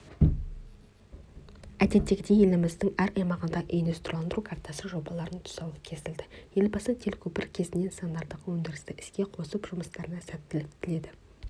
әдеттегідей еліміздің әр аймағында индустрияландыру картасы жобаларының тұсауы кесілді елбасы телекөпір кезінде нысандардағы өндірісті іске қосып жұмыстарына сәттілік тіледі